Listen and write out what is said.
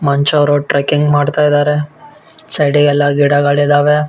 ಮನುಷ್ಯ ಅವರು ಟ್ರಕ್ಕಿಂಗ್ ಮಾಡ್ತಾ ಇದ್ದಾರೆ ಸೈಡ್ ಗೆ ಎಲ್ಲ ಗಿಡಗಳಿದ್ದಾವೆ.